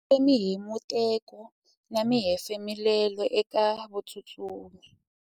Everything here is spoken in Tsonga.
ndzi twile mihemuteko na mahefumulelo eka vatsutsumi